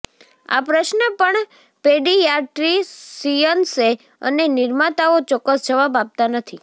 આ પ્રશ્ન પણ પેડિયાટ્રીસિયન્સે અને નિર્માતાઓ ચોક્કસ જવાબ આપવા નથી